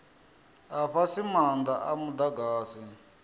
a fhasi maanda a mudagasi